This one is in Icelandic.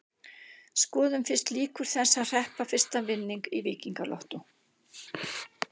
Skoðum fyrst líkur þess að hreppa fyrsta vinning í Víkingalottó.